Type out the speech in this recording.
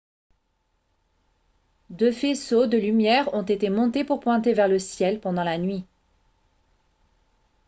deux faisceaux de lumière ont été montés pour pointer vers le ciel pendant la nuit